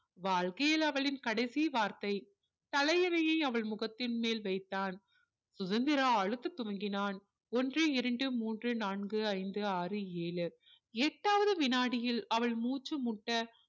வாழ்கையில் அவளின் கடைசி வார்த்தை தலையணையை அவள் முகத்தின் மேல் வைத்தான் சுதந்திரா அழுத்த துவங்கினான் ஒன்று இரண்டு மூன்று நான்கு ஐந்து ஆறு ஏழு எட்டாவது வினாடியில் அவள் மூச்சு முட்ட